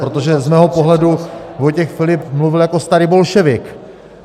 Protože z mého pohledu Vojtěch Filip mluvil jako starý bolševik.